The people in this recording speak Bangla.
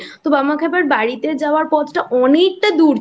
বামাখ্যাপার বাড়িতে যাওয়ার পথ টা অনেকটা দূর ছিল